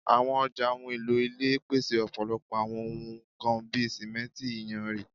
Awọn ọja ohun elo ile pese ọpọlọpọ awọn ohun kan bi simenti, iyanrin